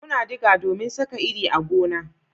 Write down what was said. Muna diga domin Saka iri a gona